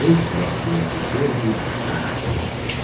"Heç vaxt", - deyə Qızılgül ona cavab verərdi.